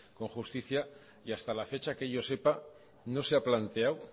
con justicia y hasta la fecha que yo sepa no se ha planteado